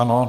Ano.